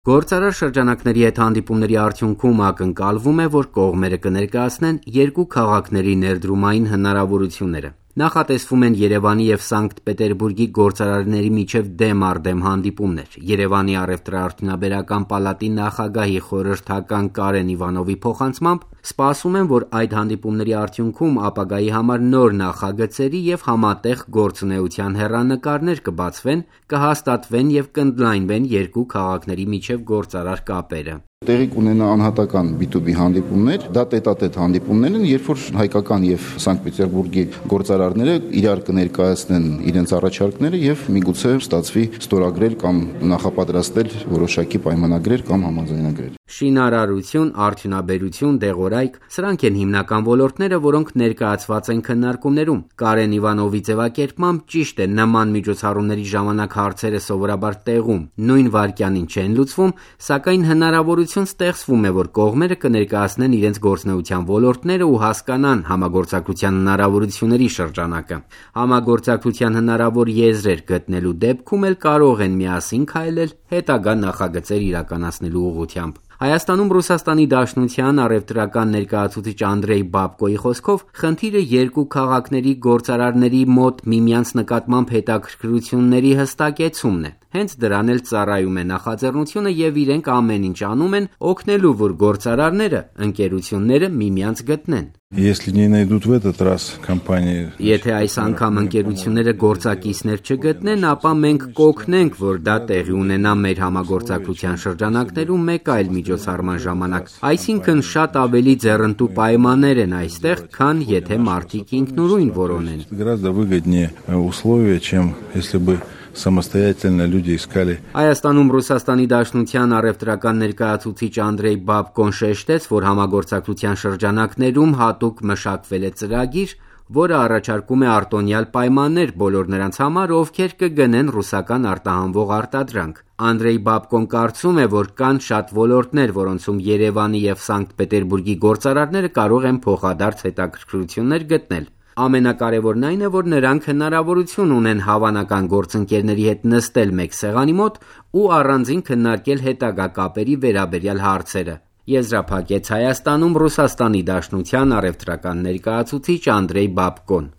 Գործարար շրջանակների հետ հանդիպումների արդյունքում ակնկալվում է, որ կողմերը կներկայացնեն երկու քաղաքների ներդրումային հնարավորությունները: Նախատեսվում են Երեւանի եւ Սանկտ-Պետերբուրգի գործարարների միջեւ դեմ առ դեմ հանդիպումներ: Երեւանի առեւտրաարդյունաբերական պալատի նախագահի խորհրդական Կարեն Իվանովի փոխանցմամբ՝ ակնկալում են, որ այդ հանդիպումների արդյունքում ապագայի համար նոր նախագծերի եւ համատեղ գործունեության հեռանկարներ կբացվեն՝ կհաստատվեն եւ կընդլայնվեն երկու քաղաքների միջեւ գործարար կապերը. «Տեղի կունենան տետատետ հանդիպումներ, որի ժամանակ Երեւանի եւ Սանկտ-Պետերբուրգի գործարարները միմյանց կներկայացնեն իրենց առաջարկները եւ, միգուցե, ստացվի ստորագրել կամ նախապատրաստել որոշակի պայմանագրեր կամ համաձայնագրեր»: Շինարարություն, արդյունաբերություն, դեղորայք – սրանք են հիմնական ոլորտները, որոնք ներկայացված են քննարկումներում: Կարեն Իվանովի ձեւակերպմամբ՝ ճիշտ է, նման միջոցառումների ժամանակ հարցերը սովորաբար տեղում, նույն վայրկյանին չեն լուծվում, սակայն, հնարավորություն ստեղծվում է, որ կողմերը ներկայացնեն իրենց գործունեության ոլորտները ու հասկանան համագործակցության հնարավորությունների շրջանակը: Համագործակցության հնարավոր եզրեր գտնելու դեպքում էլ կարող են միասին քայլել՝ հետագա նախագծեր իրականացնելու ուղղությամբ: Հայաստանում ՌԴ առեւտրական ներկայացուցիչ Անդրեյ Բաբկոի խոսքով՝ խնդիրը երկու քաղաքների գործարարների մոտ միմյանց նկատմամբ հետաքրքրությունների հստակեցումն է: Հենց դրան էլ ծառայում է նախաձեռնությունը եւ իրենք ամեն ինչ անում են՝ օգնելու, որ գործարարները, ընկերությունները միմյանց գտնեն: «Եթե այս անգամ ընկերությունները գործակիցներ չգտնեն, ապա մենք կօգնենք, որ դա տեղի ունենա մեր համագործակցության շրջանակներում մեկ այլ միջոցառման ժամանակ: Այսինքն, շատ ավելի ձեռնտու պայմաններ են այստեղ, քան եթե մարդիկ ինքնուրույն որոնեն»: Հայաստանում ՌԴ առեւտրական ներկայացուցիչ Անդրեյ Բաբկոն շեշտեց, որ համագործակցության շրջանակներում հատուկ մշակվել է ծրագիր, որը առաջարկում է արտոնյալ պայմաններ բոլոր նրանց համար, ովքեր կգնեն ռուսական արտահանվող արտադրանք: Անդրեյ Բաբկոն կարծում է, որ կան շատ ոլորտներ, որոնցում Երեւանի եւ Սանկտ Պետերբուրգի գործարարները կարող են փոխադարձ հետաքրքրություններ գտնել: Ամենակարեւորն այն է, որ նրանք հնարավորություն ունեն հավանական գործընկերների հետ նստել մեկ սեղանի մոտ ու առանձին քննարկել հետագա կապերի վերաբերյալ հարցերը՝ եզրափակեց Հայաստանում ՌԴ առեւտրական ներկայացուցիչ Անդրեյ Բաբկոն: